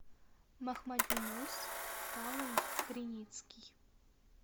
махмадюнус павлович криницкий